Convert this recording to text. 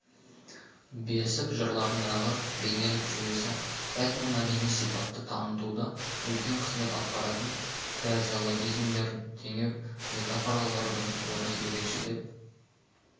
бесік жырларындағы бейнелілік жүйесі этномәдени сипатты танытуда үлкен қызмет атқаратын фразеологизмдер теңеу метафоралардың орны ерекше деп